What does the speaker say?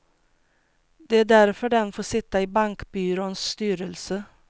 Det är därför den får sitta i bankbyråns styrelse.